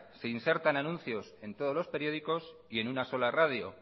se insertan anuncios en todos los periódicos y en una sola radio